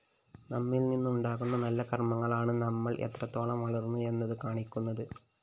നമ്മില്‍നിന്നുണ്ടാകുന്ന നല്ല കര്‍മ്മങ്ങളാണ് നമ്മള്‍ എത്രത്തോളം വളര്‍ന്നു എന്ന് കാണിക്കുന്നത്